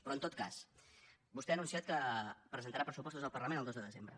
però en tot cas vostè ha anunciat que presentarà pressupostos al parlament el dos de desembre